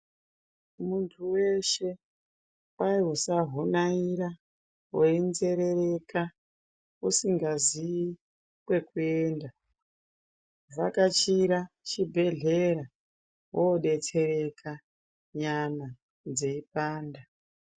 Muntu weshe kwai usahunaira weinzerereka usingazivi kwekuenda vhakachira chibhehlera yodetsereka nyama dzeipanda.